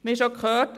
Wie schon gehört: